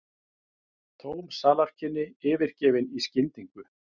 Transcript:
Tóm salarkynni yfirgefin í skyndingu.